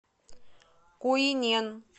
куинен